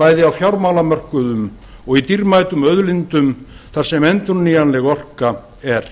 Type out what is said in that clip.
bæði á fjármálamörkuðum og í dýrmætum auðlindum þar sem endurnýjanleg orka er